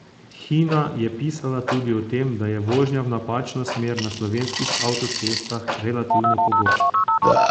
Hina je pisala tudi o tem, da je vožnja v napačno smer na slovenskih avtocestah relativno pogosta.